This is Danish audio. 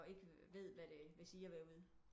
Og ikke ved hvad det vil sige at være ude